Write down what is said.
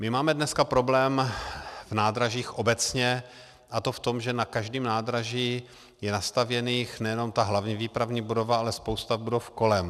My máme dneska problém v nádražích obecně, a to v tom, že na každém nádraží je nastavěných nejenom ta hlavní výpravní budova, ale spousta budov kolem.